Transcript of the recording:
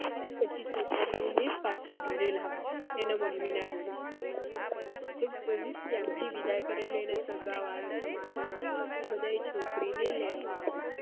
પછી છોકરીઓ ને પછી ઘર લાવે એની mummy ના ઘર પહી ત્યાં થી વિદાય કરે એટલે એના સગા વાળા સમાજ વાળા બધા એ છોકરી ને લેવા આવે